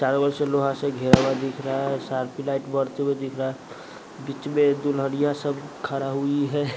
चारों ओर से लोहा से घेरा हुआ दिख रहा है सार्फी लाइट बढ़ते हुए दिख रहा है बीच में दुल्हनियाँ सब खड़ा हुई है।